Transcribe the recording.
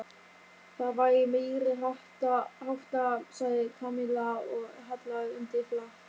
Það væri meiriháttar sagði Kamilla og hallaði undir flatt.